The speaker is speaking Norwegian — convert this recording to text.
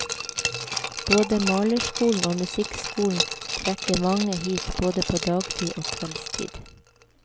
Både malerskolen og musikkskolen trekker mange hit både på dagtid og kveldstid.